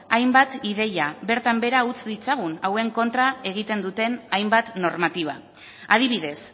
hainbat ideia bertan behera utz ditzagun hauen kontra egiten duten hainbat normatiba adibidez